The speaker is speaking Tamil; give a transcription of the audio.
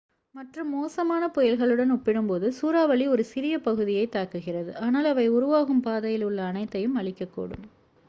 மற்ற மோசமான புயல்களுடன் ஒப்பிடும்போது சூறாவளி ஒரு சிறிய பகுதியைத் தாக்குகிறது ஆனால் அவை உருவாகும் பாதையில் உள்ள அனைத்தையும் அழிக்கக்கூடும்